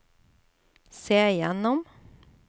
se gjennom